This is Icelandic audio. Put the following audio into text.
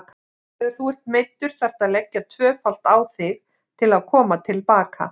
Þegar þú ert meiddur þarftu að leggja tvöfalt á þig til að koma til baka.